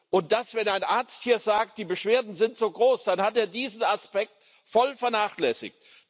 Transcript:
Und wenn ein Arzt hier sagt, die Beschwerden sind so groß, dann hat er diesen Aspekt voll vernachlässigt.